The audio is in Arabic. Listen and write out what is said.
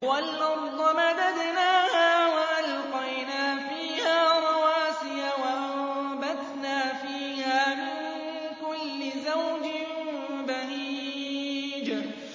وَالْأَرْضَ مَدَدْنَاهَا وَأَلْقَيْنَا فِيهَا رَوَاسِيَ وَأَنبَتْنَا فِيهَا مِن كُلِّ زَوْجٍ بَهِيجٍ